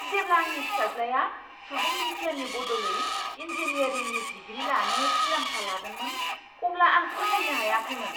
जेब्ला आंनि फिसाज्लाया सुबुं बिगियाननि बदलै इंजीनियारिंनि डिग्री लानो थिरांथा लादोंमोन, अब्ला आं फोथायनो हायाखैमोन!